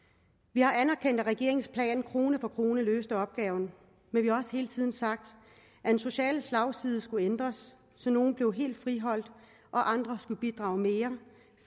vi har anerkendt at regeringens plan krone for krone løste opgaven men vi har også hele tiden sagt at den sociale slagside skulle ændres så nogle bliver helt friholdt og andre skal bidrage mere